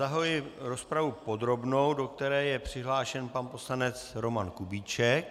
Zahajuji rozpravu podrobnou, do které je přihlášen pan poslanec Roman Kubíček.